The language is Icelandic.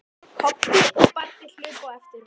Kobbi og Baddi hlupu á eftir honum.